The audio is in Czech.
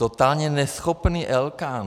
Totálně neschopný Elkán!